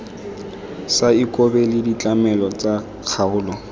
sa ikobele ditlamelo tsa kgaolo